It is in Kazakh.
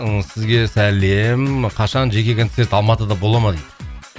ыыы сізге сәлем қашан жеке концерт алматыды бола ма дейді